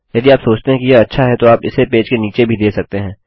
यदि आप सोचते हैं कि यह अच्छा है तो आप इसे पेज के नीचे भी दे सकते हैं